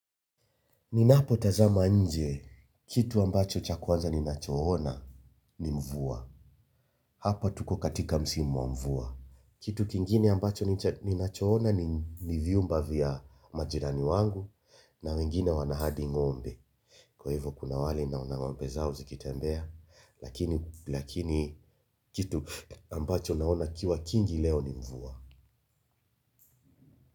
Ninapotazama nje kitu ambacho cha kwanza ninachoona ni mvua. Hapa tuko katika msimu wa mvua. Kitu kingine ambacho ninachoona ni vyumba vya majirani wangu na wengine wana hadi ngombe. Kwa hivyo kuna wale naona ngombe zao zikitembea, lakini kitu ambacho naona ikiwa kingi leo ni mvua.